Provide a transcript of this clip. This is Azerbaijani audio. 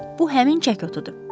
Bu həmin çəkotudur.